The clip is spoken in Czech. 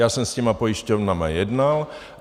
Já jsem s těmi pojišťovnami jednal.